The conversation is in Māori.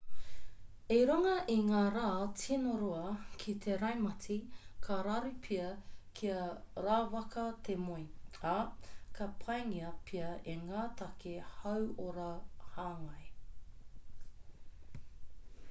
i runga i ngā rā tino roa ki te raumati ka raru pea kia rawaka te moe ā ka pāngia pea e ngā take hauora hāngai